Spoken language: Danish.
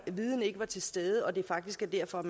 den viden ikke var til stede og det faktisk er derfor at